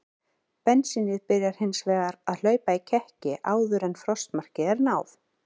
Bensínið byrjar hins vegar að hlaupa í kekki áður en frostmarki er náð.